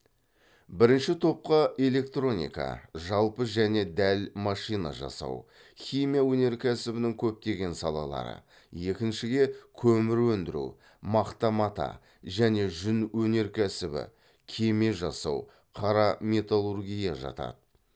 бірінші топқа электроника жалпы және дәл машина жасау химия өнеркәсібінің көптеген салалары екіншіге көмір өндіру мақта мата және жүн өнеркәсібі кеме жасау қара металлургия жатады